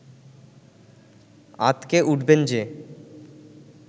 আঁতকে উঠবেন যে